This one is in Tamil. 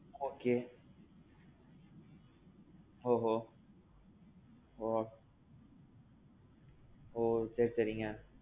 okay. ஓஹோ. ஓ. ஓ சரி சரிங்க.